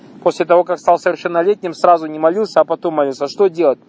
после того как стал совершеннолетним сразу не молился к потом молился что делать